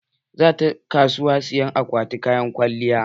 Za ta kasuwa saya akwatin kayan kwalliya.